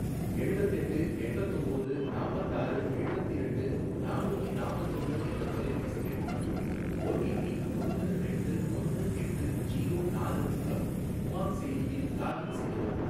எழுவத்தெட்டு எண்பத்தொம்போது நாப்பத்தாறு எழுவத்திரண்டு நானூத்தி நாப்பத்தொன்னு என்ற தொலைபேசி எண் மற்றும் ஓடிபி ஒன்னு ரெண்டு ஒன்னு எட்டு ஜீரோ நாலு மூலம் உமாங் செயலியில் லாகின் செய்யவும்.